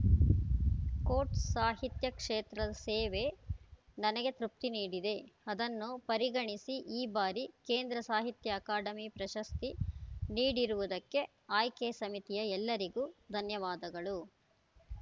coat ಸಾಹಿತ್ಯ ಕ್ಷೇತ್ರದ ಸೇವೆ ನನಗೆ ತೃಪ್ತಿ ನೀಡಿದೆ ಅದನ್ನು ಪರಿಗಣಿಸಿ ಈ ಬಾರಿ ಕೇಂದ್ರ ಸಾಹಿತ್ಯ ಅಕಾಡೆಮಿ ಪ್ರಶಸ್ತಿ ನೀಡಿರುವುದಕ್ಕೆ ಆಯ್ಕೆ ಸಮಿತಿಯ ಎಲ್ಲರಿಗೂ ಧನ್ಯವಾದಗಳು